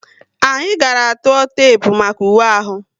Anyị gàrà tụọ tepu maka uwe ahu